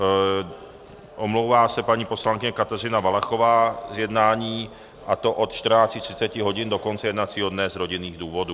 Omlouvá se paní poslankyně Kateřina Valachová z jednání, a to od 14.30 hodin do konce jednacího dne z rodinných důvodů.